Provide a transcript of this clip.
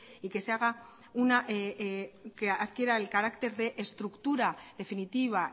y que adquiera el carácter de estructura definitiva